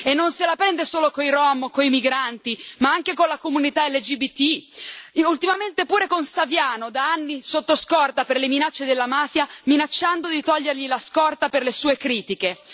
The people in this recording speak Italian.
E non se la prende solo coi rom o coi migranti ma anche con la comunità LGBT, ultimamente pure con Saviano, da anni sotto scorta per le minacce della mafia, minacciando di togliergli la scorta per le sue critiche.